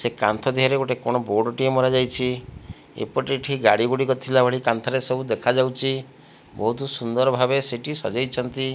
ସେ କାନ୍ଥ ଦିହରେ ଗୋଟେ କଣ ବୋର୍ଡ଼ ଟିଏ ମରାଯାଇଛି। ଏପଟେ ଏଇଠି ଗାଡ଼ି ଗୁଡିକ ଥିଲା ପରି କାନ୍ଥରେ ସବୁ ଦେଖାଯାଉଚି। ବୋହୁତ ସୁନ୍ଦର ଭାବେ ସେଠି ସଜେଇଛନ୍ତି।